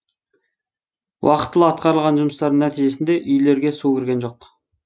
уақытылы атқарылған жұмыстардың нәтижесінде үйлерге су кірген жоқ